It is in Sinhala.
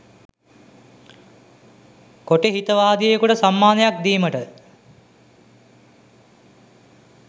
කොටි හිතවාදියෙකුට සම්මානයක් දීමට